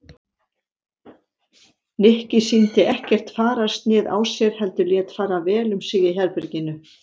Nikki sýndi ekkert fararsnið á sér heldur lét fara vel um sig í herberginu.